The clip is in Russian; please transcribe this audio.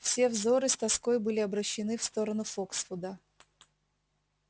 все взоры с тоской были обращены в сторону фоксвуда